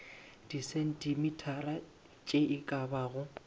disentimetara tše e ka bago